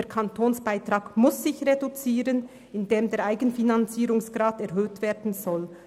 Der Kantonsbeitrag muss reduziert werden, indem der Eigenfinanzierungsgrad erhöht werden soll.